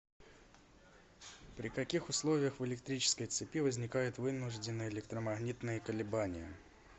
при каких условиях в электрической цепи возникают вынужденные электромагнитные колебания